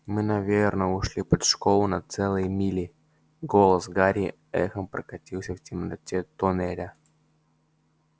мы наверное ушли под школу на целые мили голос гарри эхом прокатился в темноте тоннеля